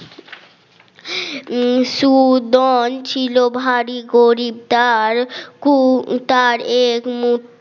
সুদন ছিল ভারী গরীবদারের তার এক মোত